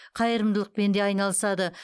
қайырымдылықпен де айналысады